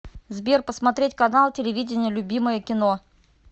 сбер посмотреть канал телевидения любимое кино